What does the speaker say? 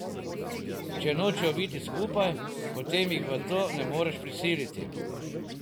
Če nočejo biti skupaj, potem jih v to ne moreš prisiliti.